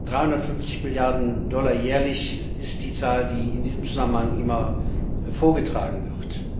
350 Milliarden Dollar jährlich ist die Zahl, die in diesem Zusammenhang immer vorgetragen wird.